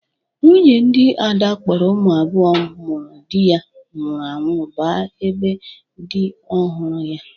Nwunye dị Ada kpọrọ ụmụ abụo ụmụrụ dị ya nwụrụ anwụ ba ebe dị ọhụrụ ya.